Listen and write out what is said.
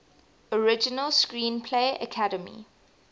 original screenplay academy